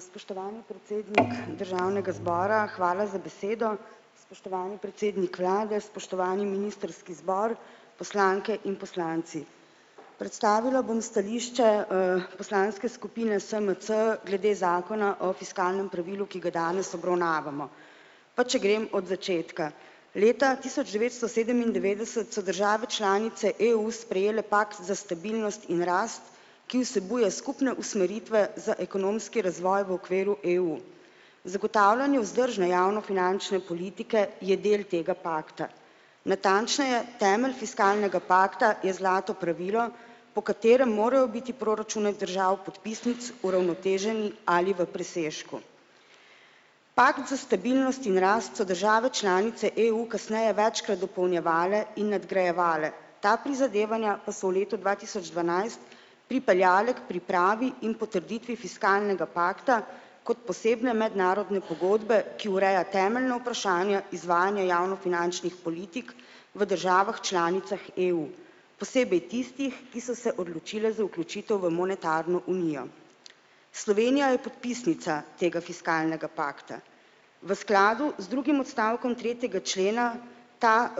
Spoštovani predsednik državnega zbora, hvala za besedo. Spoštovani predsednik vlade, spoštovani ministrski zbor, poslanke in poslanci. Predstavila bom stališče, poslanske skupine SMC glede zakona o fiskalnem pravilu, ki ga danes obravnavamo. Pa če grem od začetka. Leta tisoč devetsto sedemindevetdeset so države članice EU sprejele pakt za stabilnost in rast, ki vsebuje skupne usmeritve za ekonomski razvoj v okviru EU. Zagotavljanje vzdržne javnofinančne politike je del tega pakta. Natančneje, temelj fiskalnega pakta je zlato pravilo, po katerem morajo biti proračuni držav podpisnic uravnoteženi ali v presežku. Pakt za stabilnost in rast so države članice EU kasneje večkrat dopolnjevale in nadgrajevale, ta prizadevanja pa so v letu dva tisoč dvanajst pripeljale k pripravi in potrditvi fiskalnega pakta kot posebne mednarodne pogodbe, ki ureja temeljna vprašanja izvajanja javnofinančnih politik v državah članicah EU. Posebej tistih, ki so se odločile za vključitev v monetarno unijo. Slovenija je podpisnica tega fiskalnega pakta. V skladu z drugim odstavkom tretjega člena ta,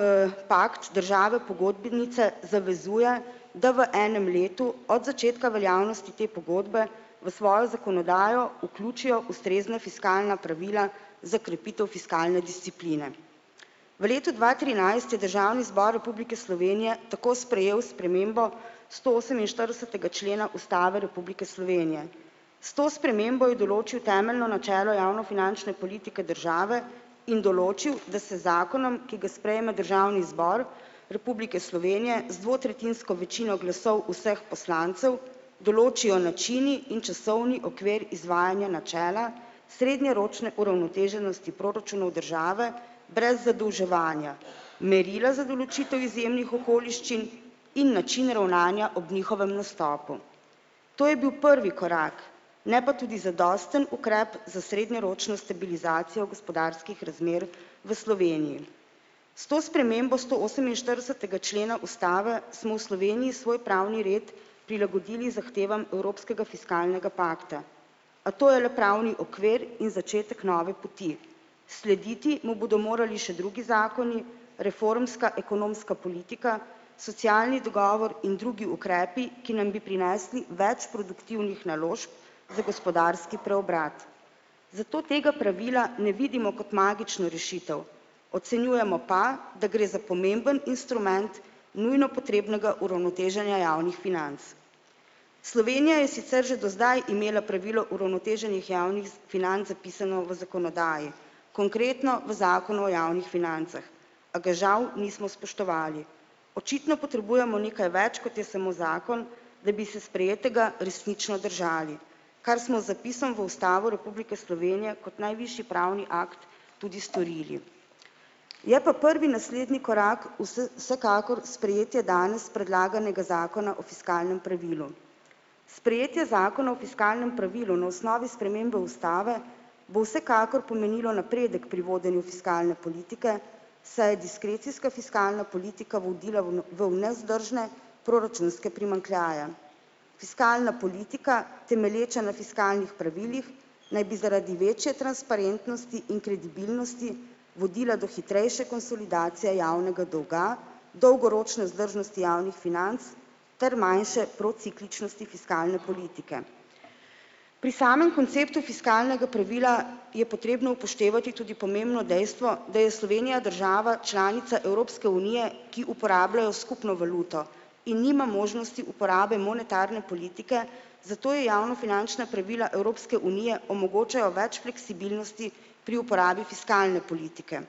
pakt države pogodbenice zavezuje, da v enem letu od začetka veljavnosti te pogodbe v svojo zakonodajo vključijo ustrezna fiskalna pravila za krepitev fiskalne discipline. V letu dva trinajst je Državni zbor Republike Slovenije tako sprejel spremembo stooseminštiridesetega člena ustave republike Slovenije. S to spremembo je določil temeljno načelo javnofinančne politike države in določil, da se zakonom, ki ga sprejme Državni zbor Republike Slovenije z dvotretjinsko večino glasov vseh poslancev, določijo načini in časovni okvir izvajanja načela srednjeročne uravnoteženosti proračunov države brez zadolževanja, merila za določitev izjemnih okoliščin in načine ravnanja ob njihovem nastopu. To je bil prvi korak, ne pa tudi zadosten ukrep za srednjeročno stabilizacijo gospodarskih razmer v Sloveniji. S to spremembo stooseminštiridesetega člena ustave smo v Sloveniji svoj pravni red prilagodili zahtevam evropskega fiskalnega pakta. A to je le pravni okvir in začetek nove poti. Slediti mu bodo morali še drugi zakoni, reformska ekonomska politika, socialni dogovor in drugi ukrepi, ki nam bi prinesli več produktivnih naložb za gospodarski preobrat. Zato tega pravila ne vidimo kot magično rešitev, ocenjujemo pa, da gre za pomemben instrument nujno potrebnega uravnoteženja javnih financ. Slovenija je sicer že do zdaj imela pravilo uravnoteženih javnih financ zapisano v zakonodaji, konkretno v zakonu o javnih financah, a ga žal nismo spoštovali. Očitno potrebujemo nekaj več, kot je samo zakon, da bi se sprejetega resnično držali. Kar smo z zapisom v Ustavo republike Slovenije kot najvišji pravni akt tudi storili. Je pa prvi naslednji korak vsekakor sprejetja danes predlaganega zakona o fiskalnem pravilu. Sprejetje zakona o fiskalnem pravilu na osnovi spremembe ustave bo vsekakor pomenilo napredek pri vodenju fiskalne politike, saj je diskrecijska fiskalna politika vodila v v nevzdržne proračunske primanjkljaje. Fiskalna politika, temelječa na fiskalnih pravilih, naj bi zaradi večje transparentnosti in kredibilnosti vodila do hitrejše konsolidacije javnega dolga, dolgoročne vzdržnosti javnih financ ter manjše procikličnosti fiskalne politike. Pri samem konceptu fiskalnega pravila je potrebno upoštevati tudi pomembno dejstvo, da je Slovenija država članica Evropske unije, ki uporablja skupno valuto in nima možnosti uporabe monetarne politike, zato ji javnofinančna pravila Evropske unije omogočajo več fleksibilnosti pri uporabi fiskalne politike.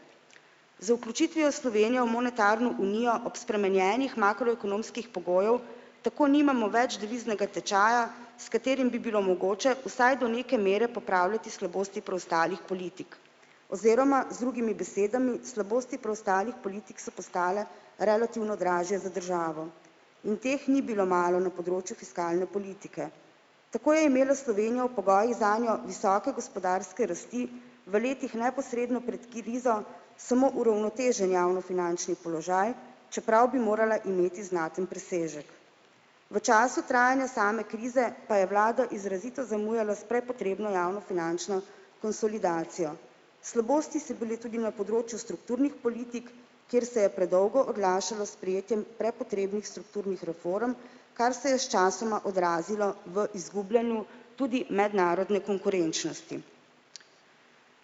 Z vključitvijo Slovenije v monetarno unijo ob spremenjenih makroekonomskih pogojih tako nimamo več deviznega tečaja, s katerim bi bilo mogoče vsaj do neke mere popravljati slabosti preostalih politik, oziroma z drugimi besedami, slabosti preostalih politik so postale relativno dražje za državo in teh ni bilo malo na področju fiskalne politike. Tako je imela Slovenija v pogojih zanjo visoke gospodarske rasti v letih neposredno pred krizo samo uravnotežen javnofinančni položaj, čeprav bi morala imeti znaten presežek. V času trajanja same krize pa je vlada izrazito zamujala s prepotrebno javnofinančno konsolidacijo. Slabosti so bili tudi na področju strukturnih politik, kjer se je predolgo oglašalo s sprejetjem prepotrebnih strukturnih reform, kar se je sčasoma odrazilo v izgubljanju tudi mednarodne konkurenčnosti.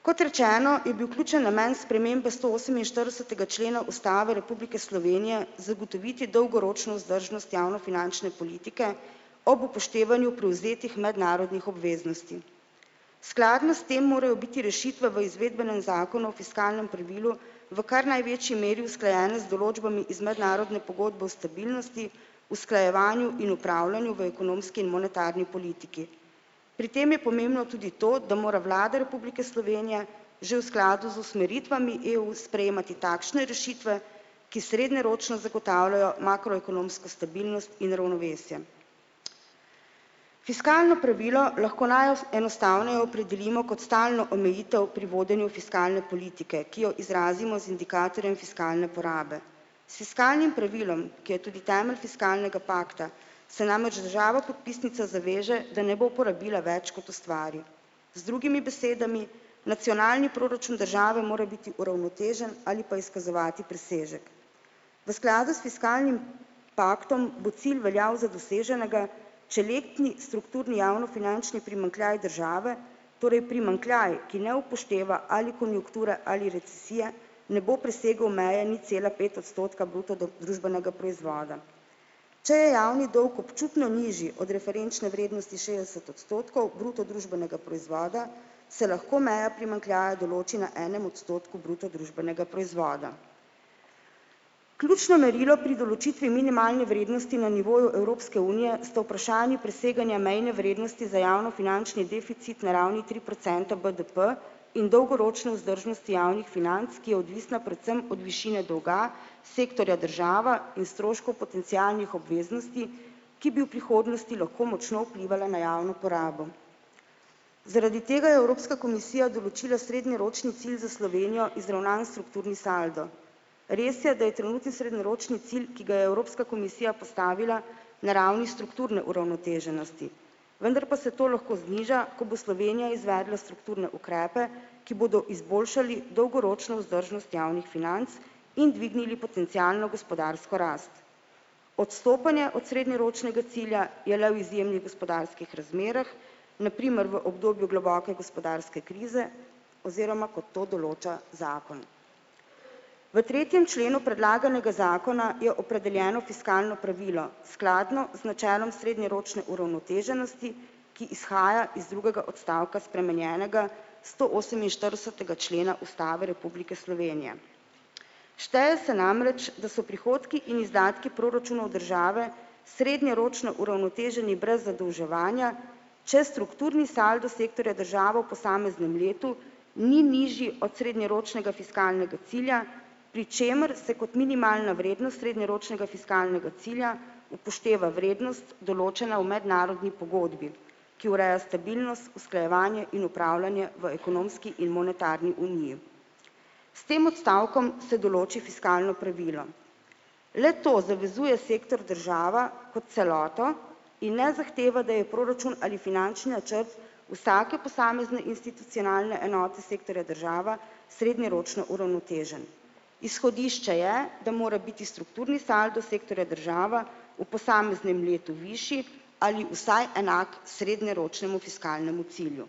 Kot rečeno, je bil ključni namen spremembe stooseminštiridesetega člena Ustave Republike Slovenije zagotoviti dolgoročno vzdržnost javnofinančne politike ob upoštevanju prevzetih mednarodnih obveznosti. Skladno s tem morajo biti rešitve v izvedbenem zakonu o fiskalnem pravilu v kar največji meri usklajene z določbami iz mednarodne pogodbe o stabilnosti, usklajevanju in opravljanju v ekonomski in monetarni politiki. Pri tem je pomembno tudi to, da mora Vlada Republike Slovenije že v skladu z usmeritvami EU sprejemati takšne rešitve, ki srednjeročno zagotavljajo makroekonomsko stabilnost in ravnovesje. Fiskalno pravilo lahko enostavneje opredelimo kot stalno omejitev pri vodenju fiskalne politike, ki jo izrazimo z indikatorjem fiskalne porabe. S fiskalnim pravilom, ki je tudi temelj fiskalnega pakta, se namreč država podpisnica zaveže, da ne bo porabila več, kot ustvari, z drugimi besedami nacionalni proračun države mora biti uravnotežen ali pa izkazovati presežek. V skladu s fiskalnim paktom bo cilj veljal za doseženega, če letni strukturni javnofinančni primanjkljaj države, torej primanjkljaj, ki ne upošteva ali konjunkture ali recesije, ne bo presegel meje nič cela pet odstotka bruto družbenega proizvoda. Če je javni dolg občutno nižji od referenčne vrednosti šestdeset odstotkov bruto družbenega proizvoda, se lahko meja primanjkljaja določi na enem odstotku bruto družbenega proizvoda. Ključno merilo pri določitvi minimalne vrednosti na nivoju Evropske unije sta vprašanji preseganja mejne vrednosti za javnofinančni deficit na ravni tri procente BDP in dolgoročne vzdržnosti javnih financ, ki je odvisna predvsem od višine dolga sektorja država in stroškov potencialnih obveznosti, ki bi v prihodnosti lahko močno vplivale na javno porabo. Zaradi tega je Evropska komisija določila srednjeročni cilj za Slovenijo izravnan strukturni saldo. Res je, da je trenutni srednjeročni cilj, ki ga je Evropska komisija postavila na ravni strukturne uravnoteženosti, vendar pa se to lahko zniža, ko bo Slovenija izvedla strukturne ukrepe, ki bodo izboljšali dolgoročno vzdržnost javnih financ in dvignili potencialno gospodarsko rast. Odstopanje od srednjeročnega cilja je le v izjemnih gospodarskih razmerah, na primer v obdobju globoke gospodarske krize, oziroma kot to določa zakon. V tretjem členu predlaganega zakona je opredeljeno fiskalno pravilo skladno z načelom srednjeročne uravnoteženosti, ki izhaja iz drugega odstavka spremenjenega stooseminštiridesetega člena Ustave Republike Slovenije. Šteje se namreč, da so prihodki in izdatki proračunov države srednjeročno uravnoteženi brez zadolževanja, če strukturni saldo sektorja država posameznem letu ni nižji od srednjeročnega fiskalnega cilja, pri čemer se kot minimalna vrednost srednjeročnega fiskalnega cilja upošteva vrednost, določena v mednarodni pogodbi, ki ureja stabilnost, usklajevanje in opravljanje v ekonomski in monetarni uniji. S tem odstavkom se določi fiskalno pravilo. Le-to zavezuje sektor država kot celoto in ne zahteva, da je proračun ali finančni načrt vsake posamezne institucionalne enote sektorja država srednjeročno uravnotežen. Izhodišče je, da mora biti strukturni saldo sektorja država v posameznem letu višji ali vsaj enak srednjeročnemu fiskalnemu cilju.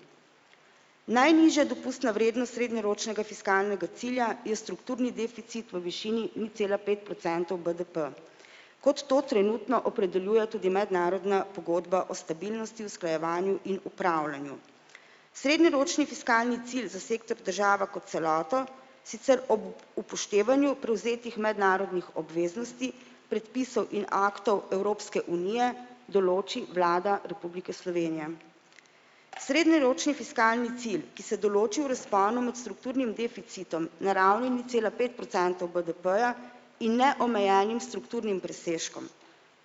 Najnižja dopustna vrednost srednjeročnega fiskalnega cilja je strukturni deficit v višini nič cela pet procentov BDP, kot to trenutno opredeljuje tudi mednarodna pogodba o stabilnosti, usklajevanju in opravljanju. Srednjeročni fiskalni cilj za sektor država kot celoto sicer ob upoštevanju prevzetih mednarodnih obveznosti, predpisov in aktov Evropske unije določi Vlada Republike Slovenije. Srednjeročni fiskalni cilj, ki se določi v razponu med strukturnim deficitom na ravni nič cela pet procentov BDP-ja in ne omejenim strukturnim presežkom.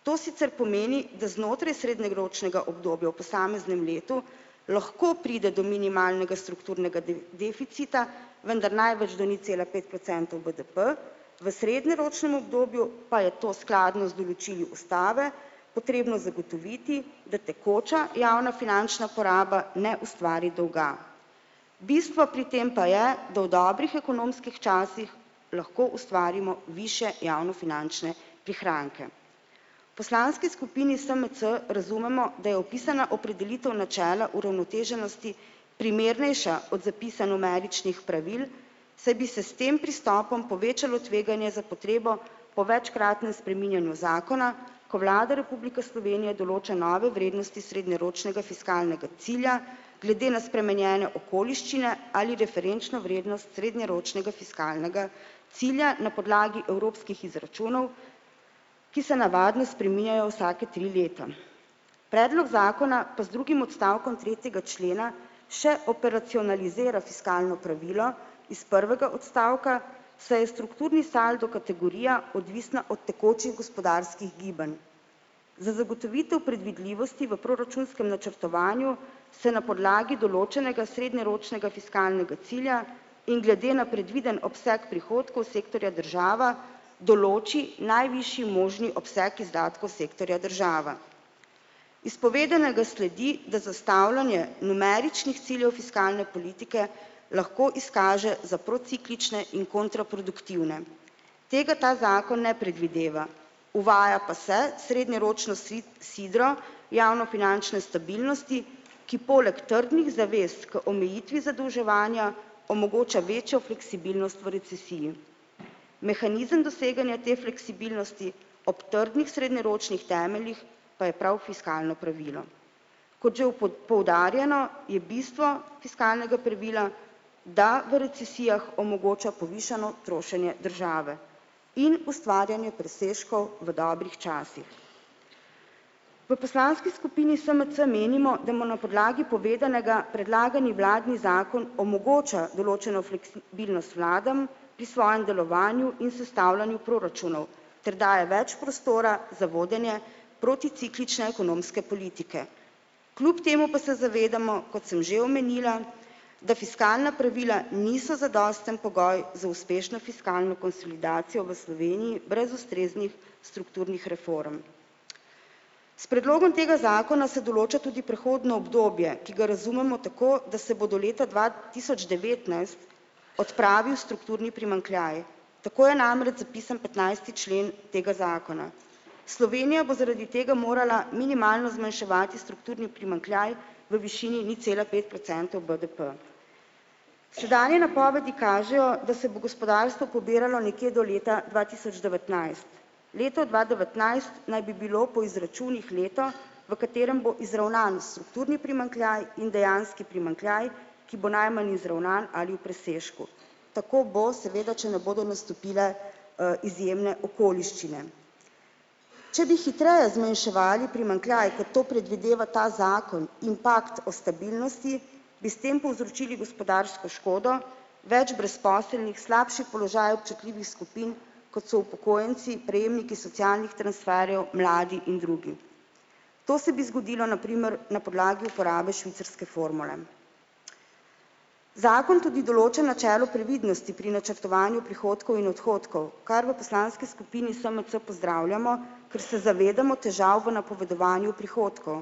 To sicer pomeni, da znotraj srednjeročnega obdobja v posameznem letu lahko pride do minimalnega strukturnega deficita, vendar največ do nič cela pet procentov BDP, v srednjeročnem obdobju pa je to skladno z določili ustave potrebno zagotoviti, da tekoča javno finančna poraba ne ustvari dolga. Bistvo pri tem pa je, da v dobrih ekonomskih časih lahko ustvarimo višje javnofinančne prihranke. Poslanski skupini SMC razumemo, da je opisana opredelitev načela uravnoteženosti primernejša od zapisa numeričnih pravil, saj bi se s tem pristopom povečalo tveganje za potrebo po večkratnem spreminjanju zakona, ko Vlada Republike Slovenije določa nove vrednosti srednjeročnega fiskalnega cilja glede na spremenjene okoliščine ali referenčno vrednost srednjeročnega fiskalnega cilja na podlagi evropskih izračunov, ki se navadno spreminjajo vsaka tri leta. Predlog zakona pa z drugim odstavkom tretjega člena še operacionalizira fiskalno pravilo iz prvega odstavka, saj je strukturni saldo kategorija, odvisna od tekočih gospodarskih gibanj. Za zagotovitev predvidljivosti v proračunskem načrtovanju se na podlagi določenega srednjeročnega fiskalnega cilja in glede na predviden obseg prihodkov sektorja država določi najvišji možni obseg izdatkov sektorja država. Iz povedanega sledi, da zastavljanje numeričnih ciljev fiskalne politike lahko izkaže za prociklično in kontraproduktivno. Tega ta zakon ne predvideva, uvaja pa se srednjeročno sidro javnofinančne stabilnosti, ki poleg trdnih zavez k omejitvi zadolževanja omogoča večjo fleksibilnost v recesiji. Mehanizem doseganja te fleksibilnosti ob trdnih srednjeročnih temeljih pa je prav fiskalno pravilo. Kot že poudarjeno, je bistvo fiskalnega pravila, da v recesijah omogoča povišano trošenje države in ustvarjanje presežkov v dobrih časih. V poslanski skupini SMC menimo, da mo na podlagi povedanega predlagani vladni zakon omogoča določeno fleksibilnost vladam pri svojem delovanju in sestavljanju proračunov ter daje več prostora za vodenje proticiklične ekonomske politike. Kljub temu pa se zavedamo, kot sem že omenila, da fiskalna pravila niso zadosten pogoj za uspešno fiskalno konsolidacijo v Sloveniji brez ustreznih strukturnih reform. S predlogom tega zakona se določa tudi prehodno obdobje, ki ga razumemo tako, da se bo do leta dva tisoč devetnajst odpravil strukturni primanjkljaj, tako je namreč zapisan petnajsti člen tega zakona. Slovenija bo zaradi tega morala minimalno zmanjševati strukturni primanjkljaj v višini nič cela pet procentov BDP. Sedanje napovedi kažejo, da se bo gospodarstvo pobiralo nekje do leta dva tisoč devetnajst. Leto dva devetnajst naj bi bilo po izračunih leto, v katerem bo izravnan strukturni primanjkljaj in dejanski primanjkljaj, ki bo najmanj izravnan ali v presežku. Tako bo seveda, če ne bodo nastopile, izjemne okoliščine. Če bi hitreje zmanjševali primanjkljaj, kot to predvideva ta zakon in pakt o stabilnosti, bi s tem povzročili gospodarsko škodo, več brezposelnih, slabši položaj občutljivih skupin, kot so upokojenci, prejemniki socialnih transferjev, mladi in drugi. To se bi zgodilo na primer na podlagi uporabe švicarske formule. Zakon tudi določa načelo previdnosti pri načrtovanju prihodkov in odhodkov, kar v poslanski skupini SMC pozdravljamo, ker se zavedamo težav v napovedovanju prihodkov.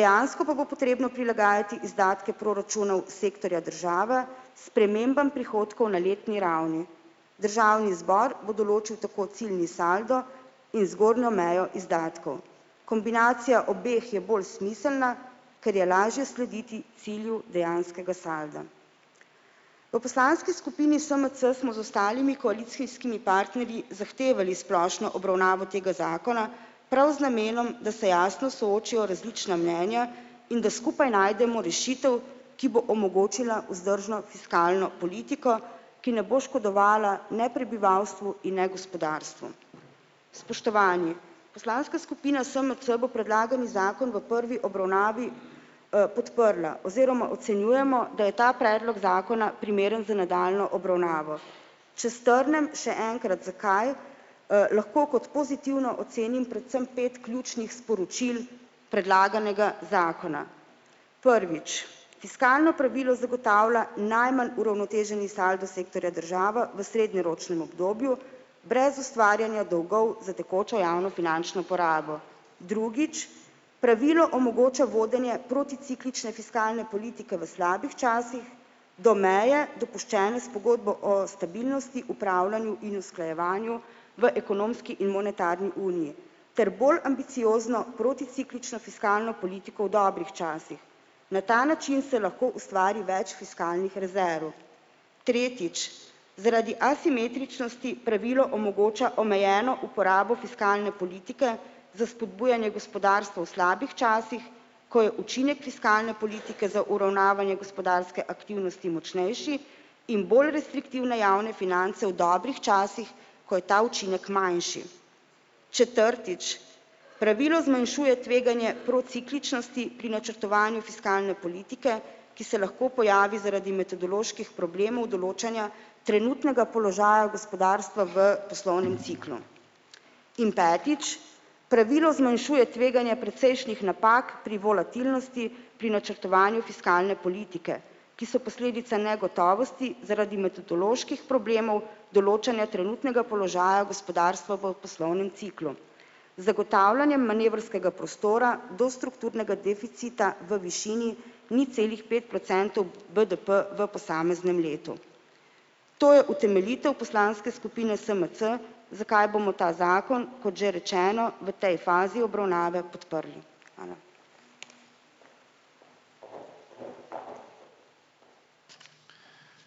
Dejansko pa bo potrebno prilagajati izdatke proračunov sektorja država spremembam prihodkov na letni ravni. Državni zbor bo določil tako ciljni saldo in zgornjo mejo izdatkov, kombinacija obeh je bolj smiselna, ker je lažje slediti cilju dejanskega salda. V poslanski skupini SMC smo z ostalimi koalicijskimi partnerji zahtevali splošno obravnavo tega zakona prav z namenom, da se jasno soočijo različna mnenja in da skupaj najdemo rešitev, ki bo omogočila vzdržno fiskalno politiko, ki ne bo škodovala ne prebivalstvu in ne gospodarstvu. Spoštovani, poslanska skupina SMC bo predlagani zakona v prvi obravnavi, podprla oziroma ocenjujemo, da je ta predlog zakona primeren za nadaljnjo obravnavo. Če strnem še enkrat, zakaj, lahko kot pozitivno ocenim predvsem pet ključnih sporočil predlaganega zakona. Prvič, fiskalno pravilo zagotavlja najmanj uravnoteženi saldo sektorja država v srednjeročnem obdobju brez ustvarjanja dolgov za tekočo javnofinančno porabo. Drugič, pravilo omogoča vodenje proticiklične fiskalne politike v slabih časih do meje, dopuščene s pogodbo o stabilnosti, opravljanju in usklajevanju v ekonomski in monetarni uniji ter bolj ambiciozno proticiklično fiskalno politiko v dobrih časih. Na ta način se lahko ustvari več fiskalnih rezerv. Tretjič, zaradi asimetričnosti pravilo omogoča omejeno uporabo fiskalne politike za spodbujanje gospodarstva v slabih časih, ko je učinek fiskalne politike za uravnavanje gospodarske aktivnosti močnejši in bolj restriktivne javne finance v dobrih časih, ko je ta učinek manjši. Četrtič, pravilo zmanjšuje tveganje procikličnosti pri načrtovanju fiskalne politike, ki se lahko pojavi zaradi metodoloških problemov določanja trenutnega položaja gospodarstva v poslovnem ciklu. In petič, pravilo zmanjšuje tveganje precejšnjih napak pri volatilnosti pri načrtovanju fiskalne politike, ki so posledica negotovosti zaradi metodoloških problemov določanja trenutnega položaja gospodarstva v poslovnem ciklu. Zagotavljanjem manevrskega prostora do strukturnega deficita v višini nič celih pet procentov BDP v posameznem letu. To je utemeljitev poslanske skupine SMC, zakaj bomo ta zakon, kot že rečeno, v tej fazi obravnave podprli. Hvala.